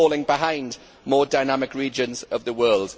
we are falling behind more dynamic regions of the world.